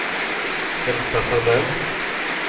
Elsa Sandell